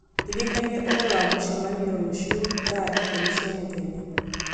ndirikania ũhoro wa mũcemanio rũciũ thaa ikũmi cia mũthenya